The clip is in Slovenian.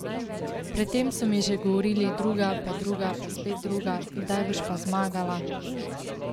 Pred tem so mi že govorili druga, pa druga, pa spet druga, kdaj boš pa zmagala?